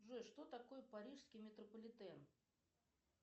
джой что такое парижский метрополитен